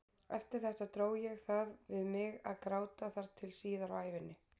Eftir þetta dró ég það við mig að gráta þar til síðar á ævinni.